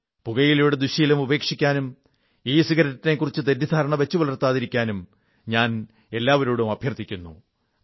പുകയിലയുടെ ദുഃശ്ശീലം ഉപേക്ഷിക്കാനും ഇസിഗരറ്റിനെക്കുറിച്ച് തെറ്റിദ്ധാരണ വച്ചു പുലർത്താതിരിക്കാനും ഞാൻ എല്ലാവരോടും അഭ്യർഥിക്കുന്നു